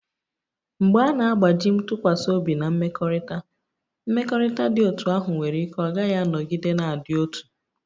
Mgbe a na-agbaji ntụkwasị obi Na mmekọrịta, mmekọrịta dị otú ahụ nwere ike ọ gaghị anọgide na-adị otu.